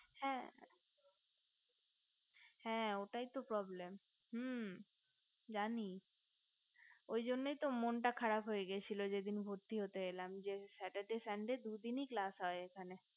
হে হে ওটাই তো problem হু জানি ওই জন্যই তো মনটা খারাপ হয়ে গিয়েছিলো যেদিন ভর্তি হতে এলাম যে saturday sunday দুদিনই class হয়